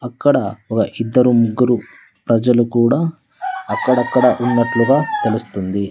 అక్కడ ఇద్దరు ముగ్గురు ప్రజలు కూడా అక్కడక్కడ ఉన్నట్లుగా తెలుస్తుంది.